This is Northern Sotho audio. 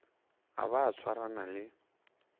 a ba a swarana le